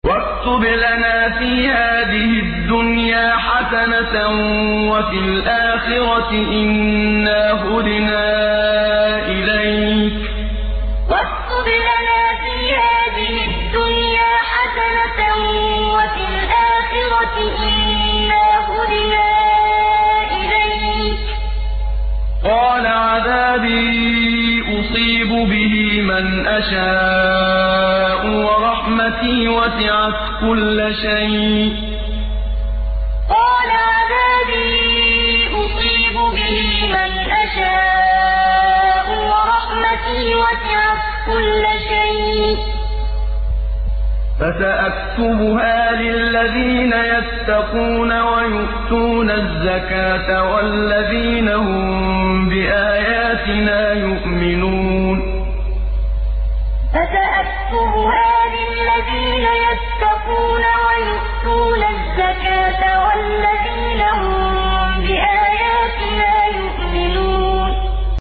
۞ وَاكْتُبْ لَنَا فِي هَٰذِهِ الدُّنْيَا حَسَنَةً وَفِي الْآخِرَةِ إِنَّا هُدْنَا إِلَيْكَ ۚ قَالَ عَذَابِي أُصِيبُ بِهِ مَنْ أَشَاءُ ۖ وَرَحْمَتِي وَسِعَتْ كُلَّ شَيْءٍ ۚ فَسَأَكْتُبُهَا لِلَّذِينَ يَتَّقُونَ وَيُؤْتُونَ الزَّكَاةَ وَالَّذِينَ هُم بِآيَاتِنَا يُؤْمِنُونَ ۞ وَاكْتُبْ لَنَا فِي هَٰذِهِ الدُّنْيَا حَسَنَةً وَفِي الْآخِرَةِ إِنَّا هُدْنَا إِلَيْكَ ۚ قَالَ عَذَابِي أُصِيبُ بِهِ مَنْ أَشَاءُ ۖ وَرَحْمَتِي وَسِعَتْ كُلَّ شَيْءٍ ۚ فَسَأَكْتُبُهَا لِلَّذِينَ يَتَّقُونَ وَيُؤْتُونَ الزَّكَاةَ وَالَّذِينَ هُم بِآيَاتِنَا يُؤْمِنُونَ